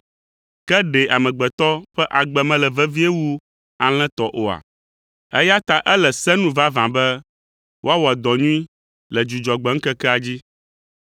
Ke ɖe amegbetɔ ƒe agbe mele vevie wu alẽ tɔ oa? Eya ta ele se nu vavã be woawɔ dɔ nyui le Dzudzɔgbe ŋkekea dzi.”